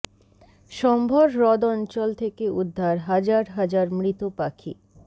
সম্ভর হ্রদ অঞ্চল থেকে উদ্ধার হাজার হাজার মৃত পাখি